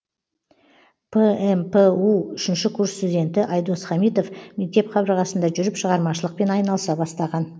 пмпу үшінші курс студенті айдос хамитов мектеп қабырғасында жүріп шығармашылықпен айналыса бастаған